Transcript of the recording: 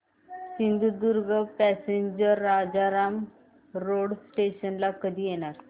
Sindhudurg passenger Rajapur road station ला कधी येणार